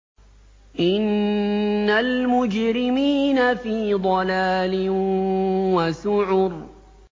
إِنَّ الْمُجْرِمِينَ فِي ضَلَالٍ وَسُعُرٍ